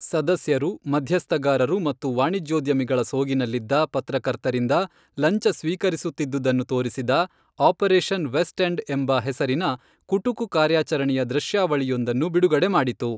ಸದಸ್ಯರು, ಮಧ್ಯಸ್ಥಗಾರರು ಮತ್ತು ವಾಣಿಜ್ಯೋದ್ಯಮಿಗಳ ಸೋಗಿನಲ್ಲಿದ್ದ ಪತ್ರಕರ್ತರಿಂದ ಲಂಚ ಸ್ವೀಕರಿಸುತ್ತಿದ್ದುದನ್ನು ತೋರಿಸಿದ, ಆಪರೇಷನ್ ವೆಸ್ಟ್ ಎಂಡ್ ಎಂಬ ಹೆಸರಿನ ಕುಟುಕು ಕಾರ್ಯಾಚರಣೆಯ ದೃಶ್ಯಾವಳಿಯೊಂದನ್ನು ಬಿಡುಗಡೆ ಮಾಡಿತು.